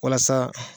Walasa